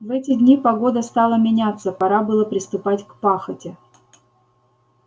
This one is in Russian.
в эти дни погода стала меняться пора было приступать к пахоте